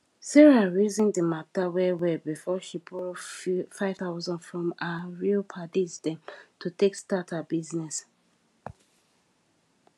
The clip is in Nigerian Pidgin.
sarah reason di matter well well before she borrow 5000 from her real paddies dem to take start her business